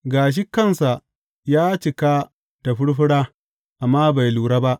Gashi kansa ya cika da furfura, amma bai lura ba.